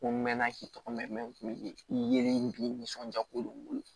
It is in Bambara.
Ko n mɛn na k'i tɔgɔ mɛn n kun bɛ i yelen k'i nisɔndiya kojugu